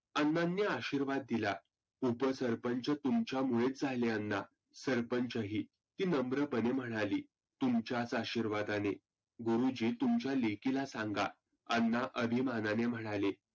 अण्णांनी आशिर्वाद दीला. उप सरपंच तुमच्यामुळेच झाले अण्णा, सरपंच ही. ती नम्रपने म्हणाली. तुमच्याच आशिर्वादाने. गुरुजी तुमच्या लेकीला सांगा अण्णा अभिमानाने म्हणाले.